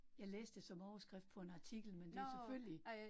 Jeg læste det som overskrift på en artikel, men det selvfølgelig